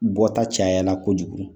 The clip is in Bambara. Bɔta cayala kojugu